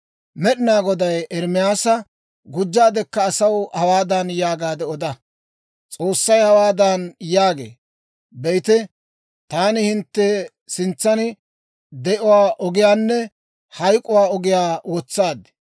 Med'inaa Goday Ermaasa, «Gujjaadekka asaw hawaadan yaagaade oda; S'oossay hawaadan yaagee; ‹Be'ite, taani hintte sintsan de'uwaa ogiyaanne hayk'k'uwaa ogiyaa wotsaad.